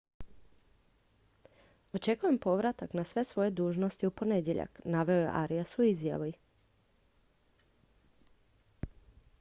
očekujem povratak na sve svoje dužnosti u ponedjeljak naveo je arias u izjavi